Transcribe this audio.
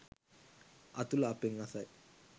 අතුල අපෙන් අසයි.